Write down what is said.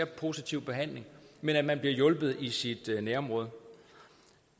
positiv behandling men at man bliver hjulpet i sit nærområde